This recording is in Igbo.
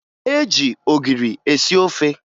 E ji ogiri esi ofe